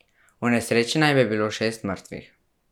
V nesreči naj bi bilo šest mrtvih.